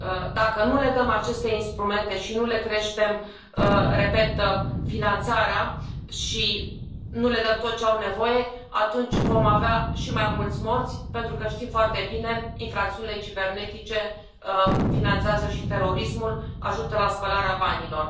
Dacă nu le dăm aceste instrumente și nu le creștem, repet, finanțarea și nu le dăm tot ce au nevoie, atunci vom avea și mai mulți morți pentru că știm foarte bine că infracțiunile cibernetice finanțează și terorismul și ajută la spălarea banilor.